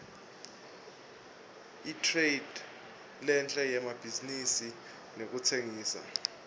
itradelentre yemabhizinisi nekutsengisa